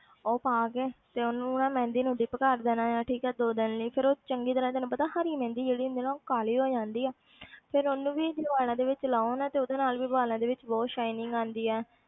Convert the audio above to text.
ਉਹ ਪਾ ਕੇ ਤੇ ਉਹਨੂੰ ਨਾ ਮਹਿੰਦੀ ਨੂੰ dip ਕਰ ਦੇਣਾ ਆਂ ਠੀਕ ਹੈ ਦੋ ਦਿਨ ਲਈ ਫਿਰ ਉਹ ਚੰਗੀ ਤਰ੍ਹਾਂ ਤੈਨੂੰ ਪਤਾ ਹਰੀ ਮਹਿੰਦੀ ਜਿਹੜੀ ਹੁੰਦੀ ਹੈ ਨਾ ਉਹ ਕਾਲੀ ਹੋ ਜਾਂਦੀ ਆ ਫਿਰ ਉਹਨੂੰ ਵੀ ਵਾਲਾਂ ਦੇ ਵਿੱਚ ਲਾਓ ਨਾ ਤੇ ਉਹਦੇ ਨਾਲ ਵੀ ਵਾਲਾਂ ਵਿੱਚ ਬਹੁਤ shining ਆਉਂਦੀ ਹੈ।